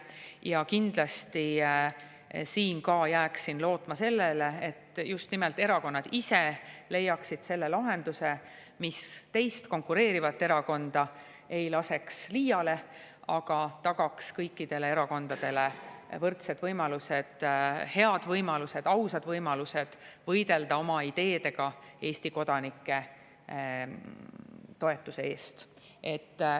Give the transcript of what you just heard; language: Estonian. Ja ma kindlasti jääksin ka siin lootma sellele, et just nimelt erakonnad ise leiaksid lahenduse, mis ei laseks konkureerivatel erakondadel liiale, aga tagaks kõikidele erakondadele võrdsed võimalused, head võimalused, ausad võimalused võidelda oma ideedega Eesti kodanike toetuse eest.